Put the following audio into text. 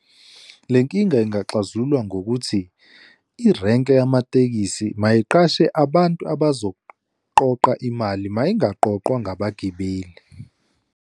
Le nkinga ingaxazululwa ngokuthi irenke yamatekisi mayiqashe abantu abazoqoqa imali, mayingaqoqwa ngabagibeli.